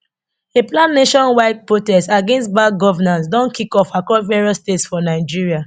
a planned nationwide protest against bad governance don kick off across various states for nigeria